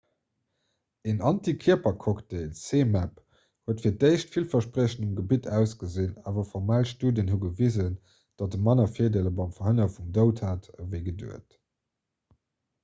een antikierpercocktail zmapp huet fir d'éischt villverspriechend um gebitt ausgesinn awer formell studien hu gewisen datt e manner virdeeler beim verhënnere vum doud hat ewéi geduecht